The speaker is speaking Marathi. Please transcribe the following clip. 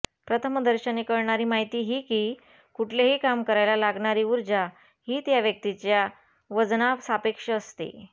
प्रथमदर्शनी कळणारी माहिती ही की कुठलेही काम करायला लागणारी ऊर्जा ही त्या व्यक्तीच्या वजनासापेक्ष असते